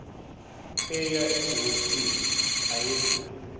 aya egermiston ayedlula